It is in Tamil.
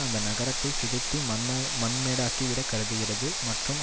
அந்த நகரத்தை சிதைத்து மண்மே மண்மேடாக்கி விட கருதுகிறது மற்றும்